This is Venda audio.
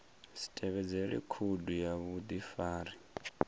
si tevhedzele khoudu ya vhudifari